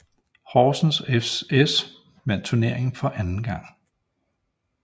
Horsens fS vandt turneringen for anden gang